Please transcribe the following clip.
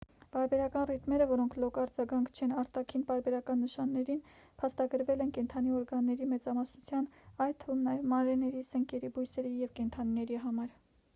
պարբերական ռիթմերը որոնք լոկ արձագանք չեն արտաքին պարբերական նշաններին փաստագրվել են կենդանի օրգանների մեծամասնության այդ թվում նաև մանրէների սնկերի բույսերի և կենդանիների համար